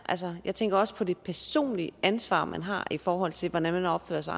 jeg tænker også på det personlige ansvar som man har i forhold til hvordan man opfører sig